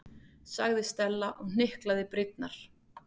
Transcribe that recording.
sagði Stella og hnyklaði brýnnar.